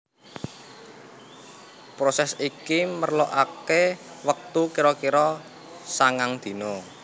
Prosès iki merlokaké wektu kira kira sangang dina